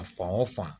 A fan o fan